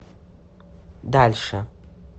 дальше